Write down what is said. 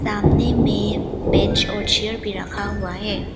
सामने में बेंच और चेयर भी रखा हुआ है।